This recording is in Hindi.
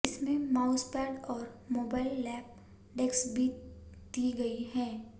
इसमें माउसपैड और मोबाइल लैप डेस्क भी दी गई है